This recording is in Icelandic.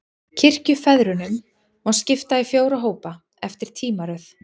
Kirkjufeðrunum má skipta í fjóra hópa, eftir tímaröð.